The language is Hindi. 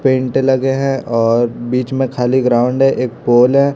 पेंट लगे है और बीच में खाली ग्राउंड है एक पोल है।